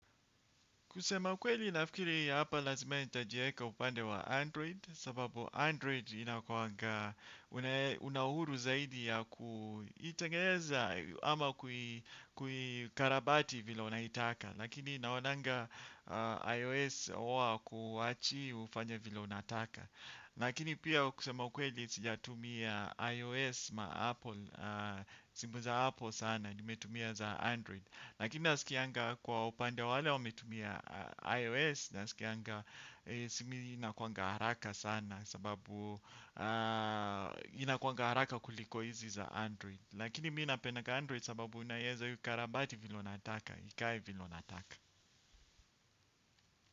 Kusema kweli nafikiri hii ya hapa lazima nitajieka upande wa Android sababu Android ina kuwanga una uhuru zaidi ya kuitengeza ama kuikarabati vile unaitaka lakini naonanga iOS huwa hawakuachi ufanye vile unataka lakini pia kusema kweli sijatumia iOS ma Apple simu za Apple sana nimetumia za Android. Lakini nasikianga kwa upande wa wale wame tumia iOS naskianga simu inakuanga haraka sana sababu inakuanga haraka kuliko hizi za Android. Lakini mi napendanga Android sababu unaeza ikarabati vile unataka. Ikae vile unataka.